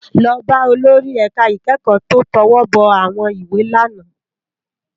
Lò bá ólóri èká ikèékò tó tòwòbò áwòn iwé è làná